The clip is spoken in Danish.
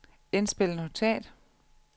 indspil notat